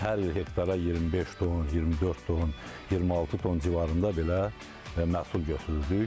Hər il hektara 25 ton, 24 ton, 26 ton civarında belə məhsul götürürdük.